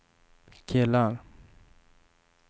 killar